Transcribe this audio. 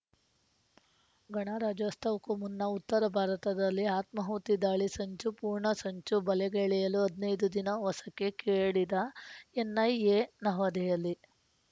ಗಣರಾಜ್ಯೋತ್ಸವಕ್ಕೂ ಮುನ್ನ ಉತ್ತರ ಭಾರತದಲ್ಲಿ ಆತ್ಮಾಹುತಿ ದಾಳಿ ಸಂಚು ಪೂರ್ಣ ಸಂಚು ಬಯಲಿಗೆಳೆಯಲು ಹದಿನೈದು ದಿನ ವಸಕ್ಕೆ ಕೇಳಿದ ಎನ್‌ಐಎ ನವದೆಹಲಿ